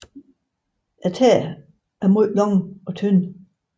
Tæerne er meget lange og tynde